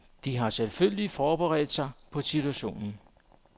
De har selvfølgelig forberedt sig på situationen.